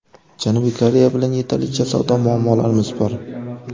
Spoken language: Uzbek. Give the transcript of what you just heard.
Janubiy Koreya bilan yetarlicha savdo muammolarimiz bor.